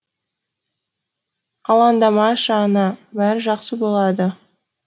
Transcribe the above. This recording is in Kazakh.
алаңдамашы ана бәрі жақсы болады